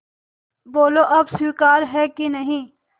बोलो अब स्वीकार है कि नहीं